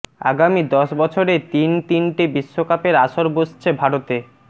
আগামী দশ বছরে তিন তিনটে বিশ্বকাপের আসর বসছে ভারতে